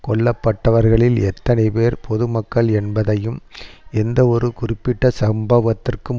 கொல்லப்பட்டவர்களில் எத்தனைபேர் பொதுமக்கள் என்பதையும் எந்தவொரு குறிப்பிட்ட சம்பவத்துக்கும்